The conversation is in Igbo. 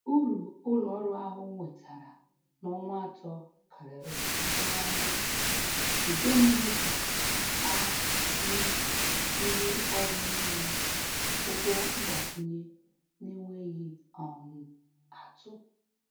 Uru ụlọ ọrụ ahụ nwetara n'ọnwa atọ karịrị atụmanya, nke mere ka a nye ndị ọrụ niile ụgwọ mgbakwunye n’enweghị um atụ.